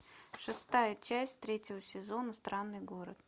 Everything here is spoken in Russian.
шестая часть третьего сезона странный город